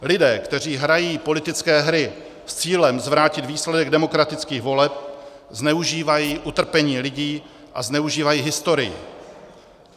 Lidé, kteří hrají politické hry s cílem zvrátit výsledek demokratických voleb, zneužívají utrpení lidí a zneužívají historii.